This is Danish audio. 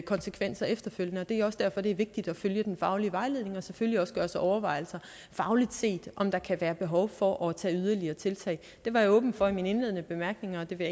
konsekvenser efterfølgende det er også derfor det er vigtigt at følge den faglige vejledning og selvfølgelig også gøre sig overvejelser fagligt set om der kan være behov for at tage yderligere tiltag det var jeg åben for i mine indledende bemærkninger og det vil